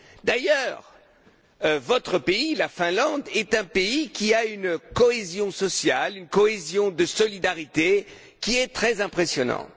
D'ailleurs, votre pays la Finlande est un pays qui a une cohésion sociale, une cohésion de solidarité qui est très impressionnante.